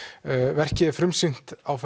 verkið var frumsýnt á